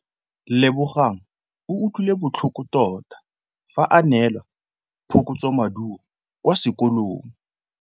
Lebogang o utlwile botlhoko tota fa a neelwa phokotsômaduô kwa sekolong.